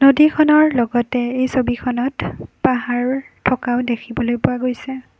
নদীখনৰ লগতে এই ছবিখনত পাহাৰো থকাও দেখিবলৈ পোৱা গৈছে।